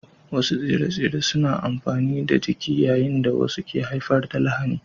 Wasu tsire-tsire suna da amfani ga jiki yayin da wasu ke haifar da lahani